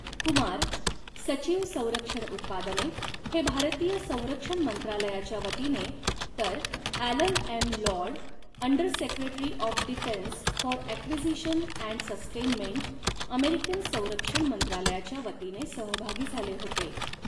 कुमार, सचिव, संरक्षण उत्पादने, हे भारतीय संरक्षण मंत्रालयाच्या वतीने तर Alan M Lord, under secretary of defence for acquisition and sustainment, American संरक्षण मंत्रालयाच्या वतीने सहभागी झाले होते.